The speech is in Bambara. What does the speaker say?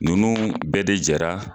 Nunnu bɛɛ de jara